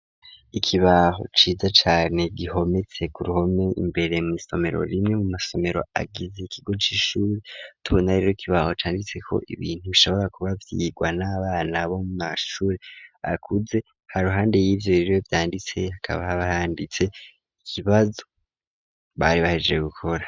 Ikibaho ciza cane gihometse ku ruhome imbere mu isomero rimwe mu masomero agize ikigo cy'ishuri t'ubuna rero ikibaho canditse ko ibintu bishobora kuba byigwa n'abana bo mashuri akuze ha ruhande y'ibyo riro vyanditse akaba bayanditse ikibazo bari bahejeje gukora.